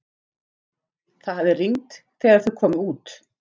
Það hafði rignt þegar þau komu út.